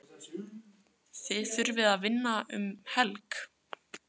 Þið þurfið að vinna um helg?